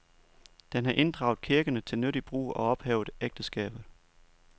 Den har inddraget kirkerne til nyttig brug og ophævet ægteskabet.